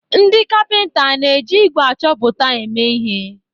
Ndị kapịnta ana-eji ígwè achọpụta eme ihe?